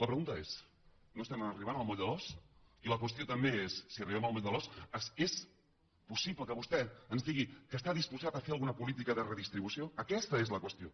la pregunta és no estem arribant al moll de l’os i la qüestió també és si arribem al moll de l’os és possible que vostè ens digui que està disposat a fer alguna política de redistribució aquesta és la qüestió